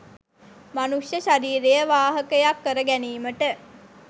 මනුෂ්‍ය ශරීරය වාහකයක් කර ගැනීමට